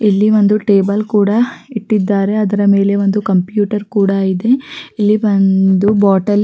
ಇಲ್ಲಿ ಒಂದು ಟೇಬಲ್ ಕೂಡ ಇಟ್ಟಿದ್ದಾರೆ ಅದರ ಮೇಲೆ ಒಂದು ಕಂಪ್ಯೂಟರ್ ಕೂಡ ಇದೆ ಇಲ್ಲಿ ಒಂದು ಬಾಟಲ್ --